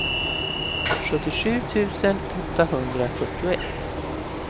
sjuttiosju tusen åttahundrafyrtioett